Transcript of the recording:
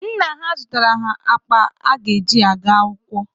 Nna ha zụtaara ha akpa ha ga-eji gaa akwụkwọ.